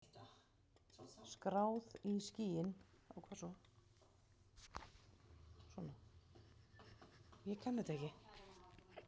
Skráð í skýin.